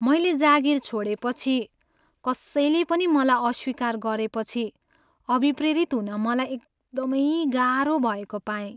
मैले जागिर छोडेपछि कसैले पनि मलाई अस्वीकार गरेपछि अभिप्रेरित हुन मलाई एकदमै गाह्रो भएको पाएँ।